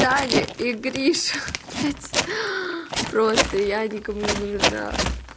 таня и гриша блять просто я никому не нужна